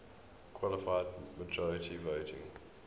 qualified majority voting